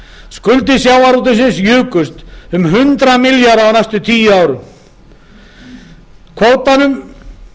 skuldir sjávarútvegsins jukust um hundrað milljarða á næstu tíu árum